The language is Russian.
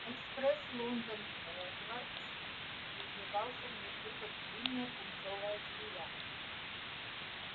экспресс лондон хогвартс извивался внизу как длинная пунцовая змея